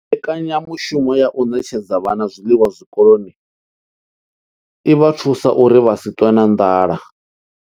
Mbekanyamushumo ya u ṋetshedza vhana zwiḽiwa zwikoloni i vha thusa uri vha si ṱwe na nḓala.